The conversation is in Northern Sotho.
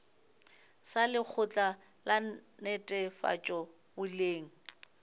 sa lekgotla la netefatšo boleng